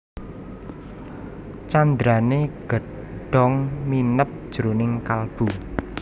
Candrané Gedhong mineb jroning kalbu